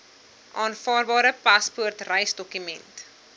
aanvaarbare paspoort reisdokument